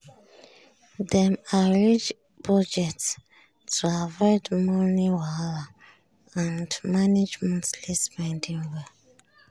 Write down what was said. dem arrange budget to avoid money wahala and and manage monthly spending well.